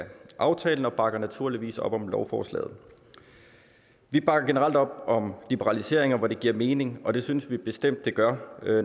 aftalen og bakker naturligvis op om lovforslaget vi bakker generelt op om liberaliseringer hvor det giver mening og det synes vi bestemt det gør